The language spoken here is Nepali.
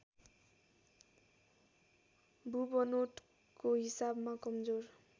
भूबनोटको हिसाबमा कमजोर